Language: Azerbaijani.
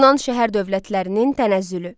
Yunan şəhər dövlətlərinin tənəzzülü.